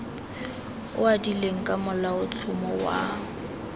o adilweng ka molaotlhomo wa